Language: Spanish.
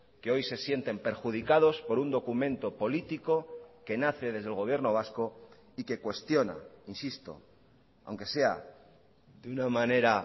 que hoy se sienten perjudicados por un documento político que nace desde el gobierno vasco y que cuestiona insisto aunque sea de una manera